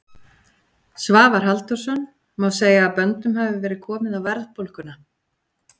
Svavar Halldórsson: Má segja að böndum hafi verið komið á verðbólguna?